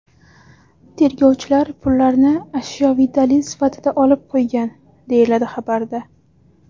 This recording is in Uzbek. Tergovchilar pullarni ashyoviy dalil sifatida olib qo‘ygan”, deyiladi xabarda.